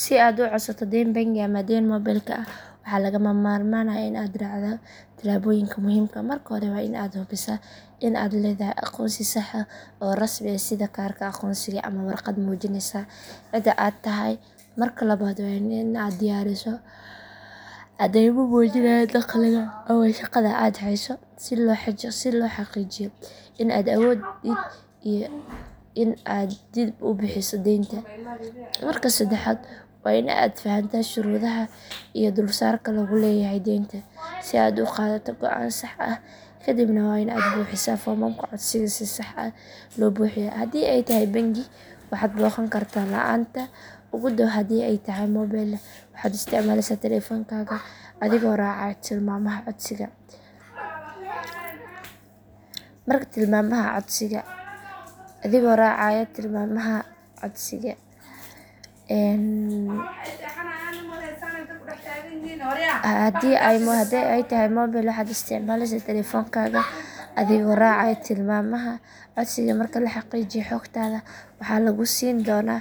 Si aad u codsato deyn bangi ama deyn mobilka ah waxaa lagama maarmaan ah in aad raacdo tillaabooyin muhiim ah marka hore waa in aad hubisaa in aad leedahay aqoonsi sax ah oo rasmi ah sida kaarka aqoonsiga ama warqad muujinaysa cida aad tahay marka labaad waa in aad diyaarisaa caddeymo muujinaya dakhligaa ama shaqada aad hayso si loo xaqiijiyo in aad awoodid in aad dib u bixiso deynta marka saddexaad waa in aad fahantaa shuruudaha iyo dulsaarka lagu leeyahay deynta si aad u qaadato go’aan sax ah kadibna waa in aad buuxisaa foomamka codsiga oo si sax ah loo buuxiyo hadii ay tahay bangi waxaad booqan kartaa laanta ugu dhow hadii ay tahay mobil waxaad isticmaalaysaa taleefankaaga adigoo raacaya tilmaamaha codsiga marka la xaqiijiyo xogtaada waxaa lagu siin doonaa